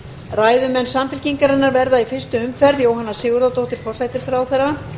ræðumenn samfylkingarinnar verða í fyrstu umferð jóhanna sigurðardóttir forsætisráðherra